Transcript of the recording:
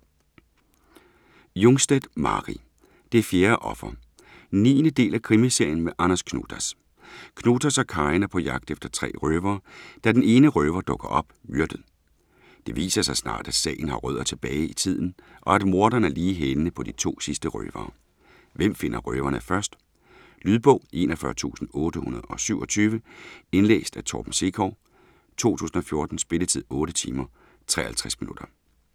Jungstedt, Mari: Det fjerde offer 9. del af krimiserien med Anders Knutas. Knutas og Karin er på jagt efter tre røvere, da den ene røver dukker op, myrdet. Det viser sig snart, at sagen har rødder tilbage i tiden og at morderen er lige i hælene på de to sidste røvere. Hvem finder røverne først? Lydbog 41827 Indlæst af Torben Sekov, 2014. Spilletid: 8 timer, 53 minutter.